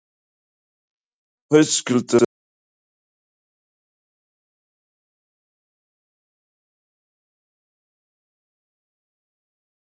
Höskuldur Kári: Það er mikið tjón fyrir sjávarútveginn ef að verkfall yrði?